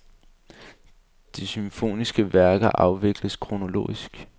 De symfoniske værker afvikles kronologisk.